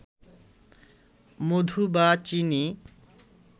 মধু বা চিনি